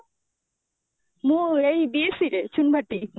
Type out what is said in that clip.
ମୁଁ ଏଇ BSC ରେ ଚଉବାଟୀ